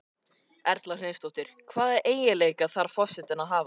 Erla Hlynsdóttir: Hvaða eiginleika þarf forsetinn að hafa?